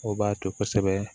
O b'a to kosɛbɛ